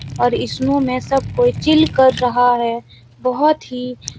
और स्नो में सब कोई चिल कर रहा है। बहोत ही --